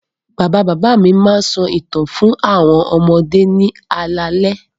Bàbá-bàbá mi máa ń sọ ìtàn fún àwọn ọmọdé ní alaalẹ́.